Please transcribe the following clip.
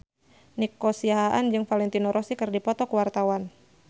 Nico Siahaan jeung Valentino Rossi keur dipoto ku wartawan